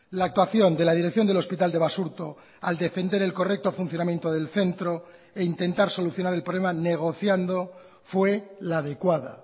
la actuación de la dirección del hospital de basurto al defender el correcto funcionamiento del centro e intentar solucionar el problema negociando fue la adecuada